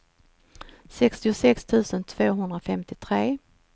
sextiosex tusen tvåhundrafemtiotre